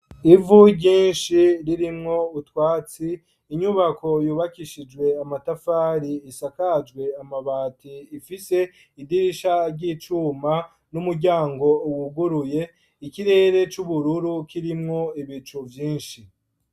Ivu ryinshi ririmwo utwatsi inyubako yubakishijwe amatafari isakajwe amabati ifise idirisha ry'icuma n'umuryango wuguruye ikirere c'ubururu kirimwo ibicu vyinshi.